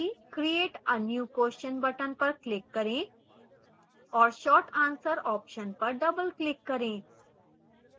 create a new question button पर click करें और short answer option पर double click करें